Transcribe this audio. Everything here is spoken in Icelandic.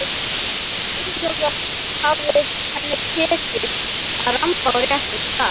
Ósjálfrátt hafi henni tekist að ramba á réttan stað.